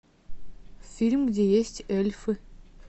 фильм где есть эльфы